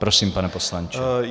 Prosím, pane poslanče.